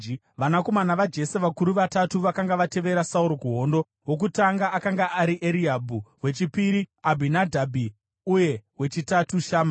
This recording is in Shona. Vanakomana vaJese vakuru vatatu vakanga vatevera Sauro kuhondo: Wokutanga akanga ari Eriabhi; wechipiri, Abhinadhabhi; uye wechitatu, Shama.